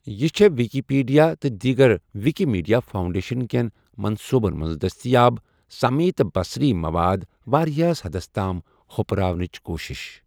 یہ چھیٚہ Wikipedia تہٕ دیٖگر وِکہِ میٖڈیا فاوُنٛڈیشن کیٚن منصوٗبَن منز دٔستیاب سمعی تہٕ بصری مواد واریاہس حَدس تام ہپرراونچ کوشش۔